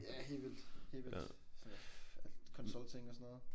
Ja helt vildt. Helt vildt. Sådan noget consulting og sådan noget